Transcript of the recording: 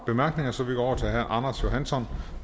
bemærkninger så vi går over til herre anders johansson